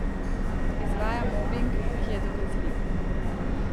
Izvaja mobing, ki je dokazljiv.